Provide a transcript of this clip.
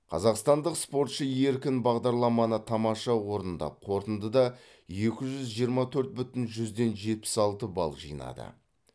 қазақстандық спортшы еркін бағдарламаны тамаша орындап қорытындыда екі жүз жиырма төрт бүтін жүзден жетпіс алты балл жинады